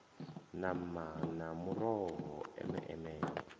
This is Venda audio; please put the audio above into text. nama na muroho eme eme